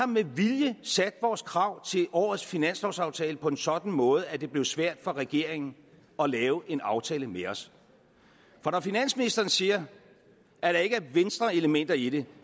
med vilje har sat vores krav til årets finanslovsaftale på en sådan måde at det blev svært for regeringen at lave en aftale med os for når finansministeren siger at der ikke er venstreelementer i det